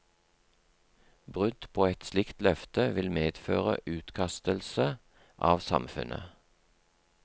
Brudd på et slikt løfte vil medføre utkastelse av samfunnet.